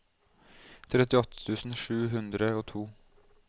trettiåtte tusen sju hundre og to